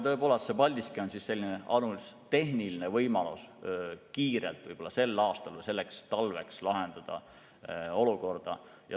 Tõepoolest, Paldiski on tehniline võimalus kiirelt sel aastal või selleks talveks olukord lahendada.